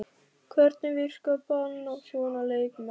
Hvernig virkar bann á svona leikmenn?